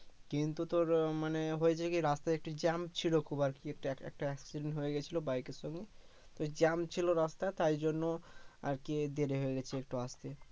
কিন্তু তোর আহ মানে হয়েছে কি রাস্তায় একটু জ্যাম ছিলো খুব আরকি একটা accident হয়ে গেছিলো বাইকের সঙ্গে ওই জ্যাম ছিলো রাস্তায় তাই জন্য আরকি দেরি হয়ে গেছে একটু আসতে